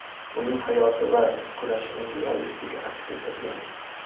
uning hayoti va kurashini realistik aks ettirgan.